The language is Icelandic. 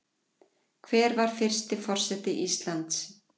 hver var fyrsti forseti íslands